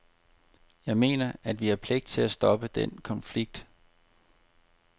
Jeg mener, at vi har pligt til at stoppe den konflikt.